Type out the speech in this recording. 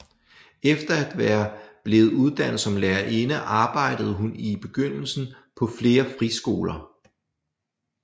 Efter at være blevet uddannet som lærerinde arbejdede hun i begyndelsen på flere friskoler